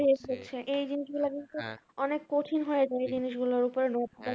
এই জিনিসগুলা কিন্তু অনেক কঠিন হয়ে যায় এই জিনিসগুলোর উপরে